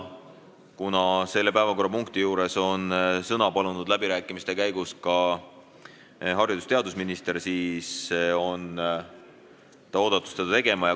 Kuna selle päevakorrapunkti juures on sõna palunud läbirääkimiste käigus ka haridus- ja teadusminister, siis on ta oodatud seda tegema.